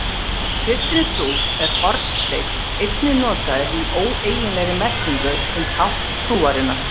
Í kristinni trú er hornsteinn einnig notaður í óeiginlegri merkingu sem tákn trúarinnar.